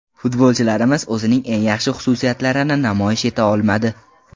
Futbolchilarimiz o‘zining eng yaxshi xususiyatlarini namoyish eta olmadi.